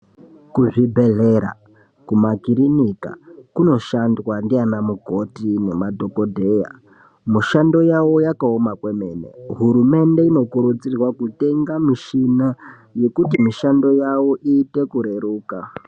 Kuzvibhedhlera ,kumakirinika kunoshandwa ndiana mukoti nemadhokodheya . Mishando yavo yakaoma kwemene , hurumende inokurudzirwa kutenga michina yekuti mishando yavo iite kureruka .